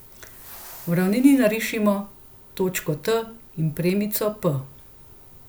V ravnini narišimo točko T in premico p.